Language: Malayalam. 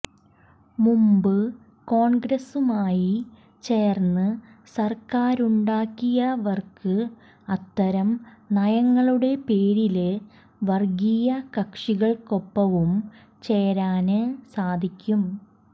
മുമ്പ് കോണ്ഗ്രസുമായി ചേര്ന്ന് സര്ക്കാരുണ്ടാക്കിയവര്ക്ക് അത്തരം നയങ്ങളുടെ പേരില് വര്ഗീയ കക്ഷികള്ക്കൊപ്പവും ചേരാന് സാധിക്കും